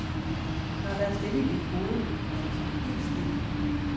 Når der er stille i dit hoved, er der så helt stille?